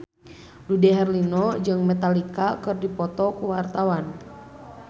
Dude Herlino jeung Metallica keur dipoto ku wartawan